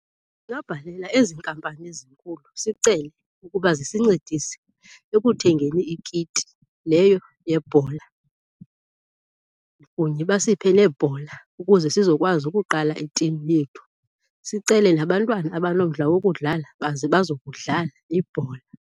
Ndingabhalela ezi nkampani zinkulu sicele ukuba zisincedise ekuthengeni ikiti leyo yebhola kunye basiphe neebhola ukuze sizokwazi ukuqala itimu yethu. Sicele nabantwana abanomdla wokudlala baze bazokudlala ibhola.